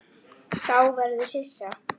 Sá verður hissa.